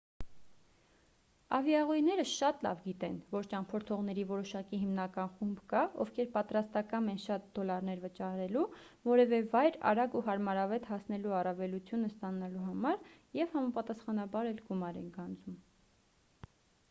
ավիաուղիները շատ լավ գիտեն որ ճամփորդողների որոշակի հիմնական խումբ կա ովքեր պատրաստակամ են շատ դոլարներ վճարելու որևէ վայր արագ ու հարմարավետ հասնելու առավելությունը ստանալու համար և համապատասխանաբար էլ գումար են գանձում